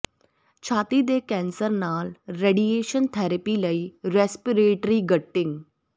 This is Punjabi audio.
ਛਾਤੀ ਦੇ ਕੈਂਸਰ ਨਾਲ ਰੇਡੀਏਸ਼ਨ ਥੈਰੇਪੀ ਲਈ ਰੇਸਪਰੇਟਰੀ ਗਟਿੰਗ